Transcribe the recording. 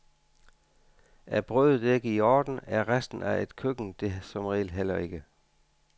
Er brødet ikke i orden, er resten af et køkken det som regel heller ikke.